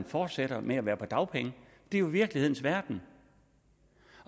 fortsætter med at være på dagpenge det er jo virkelighedens verden